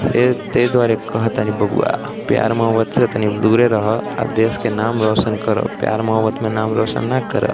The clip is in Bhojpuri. से ते द्वारे कहतनि बबुआ प्यार मोहब्बत से तनी दुरे रह आ देश के नाम रोशन कर। प्यार मोहब्बत में नाम रोशन ना कर।